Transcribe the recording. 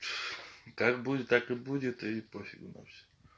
как будет так и будет и пофигу на все